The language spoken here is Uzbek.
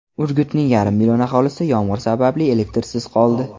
Urgutning yarim million aholisi yomg‘ir sababli elektrsiz qoldi .